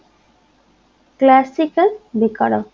classical বেকারত্ব